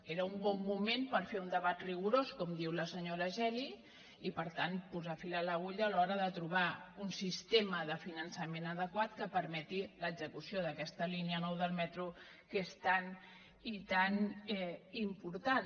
era un bon moment per fer un debat rigorós com diu la senyora geli i per tant posar fil a l’agulla a l’hora de trobar un sistema de finançament adequat que permeti l’execució d’aquesta línia nou del metro que és tan i tan important